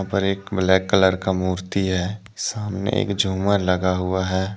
और एक black colour का मूर्ति है सामने एक झुमर लगा हुआ है।